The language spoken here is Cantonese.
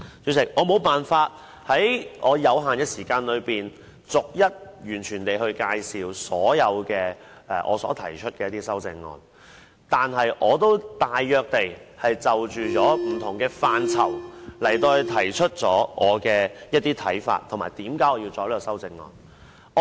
主席，我沒有辦法在我有限的時間內，逐一介紹所有我提出的修正案，但我已大約就不同範疇提出我的看法，以及我提出修正案的原因。